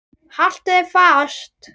Haltu þér fast.